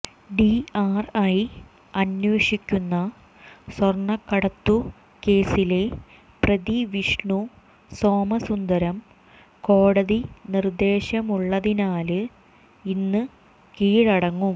DRI അന്വേഷിക്കുന്ന സ്വര്ണക്കടത്തു കേസിലെ പ്രതി വിഷ്ണു സോമസുന്ദരം കോടതി നിര്ദ്ദേശമുള്ളതിനാല് ഇന്ന് കീഴടങ്ങും